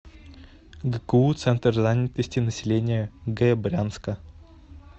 гку центр занятости населения г брянска